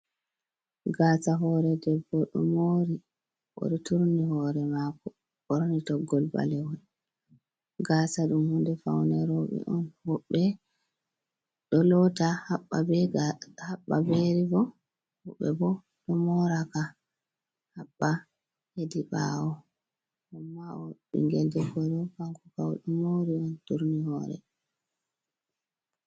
Gaasa hoore debbo ɗo moori, o ɗo turni hoore maako, ɓorni toggol ɓalewol. Gaasa ɗum hunde fawne rowɓe on. Woɓɓe ɗo loota haɓɓa be riibon, woɓɓe bo, ɗo mooraka haɓɓa hedi ɓaawo, ammaa o ɓinngel debbo ɗo, kanko kam, o ɗo moori on, turni hoore.